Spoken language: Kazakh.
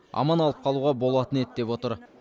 аман алып қалуға болатын еді деп отыр